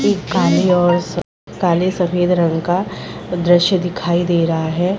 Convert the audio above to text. एक काले और काले सफ़ेद रंग का द्श्य दिखाई दे रहा है।